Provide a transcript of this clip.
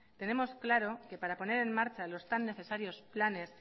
tenemos claro que para poner en marcha los tan necesarios planes